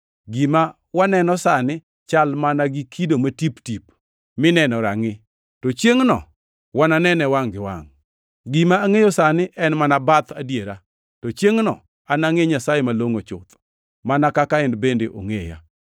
Gima waneno sani chal mana gi kido matip-tip mineno e rangʼi, to chiengʼno wananene wangʼ gi wangʼ. Gima angʼeyo sani en mana bath adiera, to chiengʼno anangʼe Nyasaye malongʼo chuth, mana kaka en bende ongʼeya.